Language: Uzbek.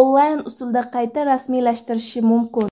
onlayn usulda qayta rasmiylashtirishi mumkin.